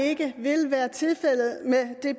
ikke vil være tilfældet med det